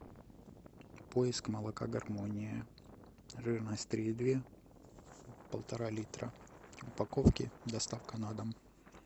поиск молока гармония жирность три и две полтора литра в упаковке доставка на дом